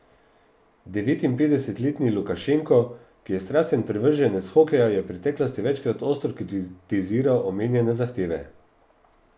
Devetinpetdesetletni Lukašenko, ki je strasten privrženec hokeja, je v preteklosti večkrat ostro kritiziral omenjene zahteve.